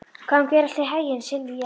Gangi þér allt í haginn, Silvía.